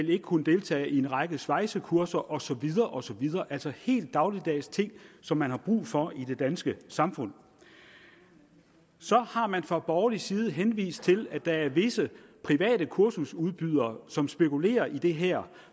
vil kunne deltage i en række svejsekurser osv altså helt dagligdags ting som man har brug for i det danske samfund så har man fra borgerlig side henvist til at der er visse private kursusudbydere som spekulerer i det her